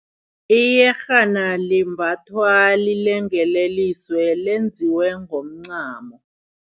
Iyerhana limbathwa lilengeleliswe, lenziwe ngomncamo.